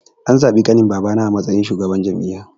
An zabi ƙanin babana a matsayin shugaban jami'a